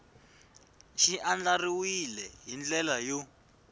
xi andlariwile hi ndlela yo